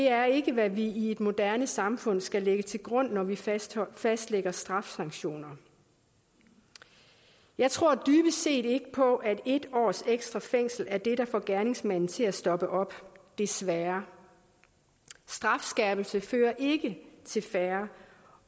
er ikke hvad vi i et moderne samfund skal lægge til grund når vi fastlægger fastlægger straffesanktioner jeg tror dybest set ikke på at en års ekstra fængsel er det der får gerningsmanden til at stoppe op desværre strafskærpelse fører ikke til færre